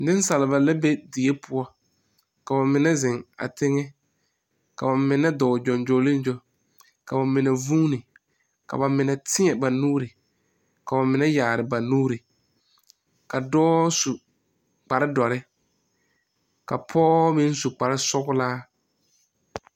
Nensaaba la be die poɔ, ka ba mine zeŋ a teŋe, ka ba dɔɔ gyoŋgyooliigyoo, ka ba mine zuuni, ka ba mine teɛ ba nuuri, ka ba mine yaare ba nuuri, ka dɔɔ su kparre dɔre, ka pɔge meŋ su kparre sɔglaa.